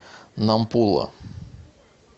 нампула